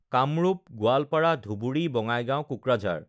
Kamrup, Goalpara, Dhubri, Bongaigaon, Kokrajhar